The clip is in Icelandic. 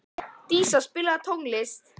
Dísa, spilaðu tónlist.